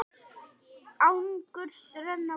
Angurs renna vogar.